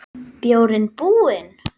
Bjórinn búinn?